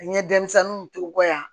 N ye denmisɛnninw ton n kɔ yan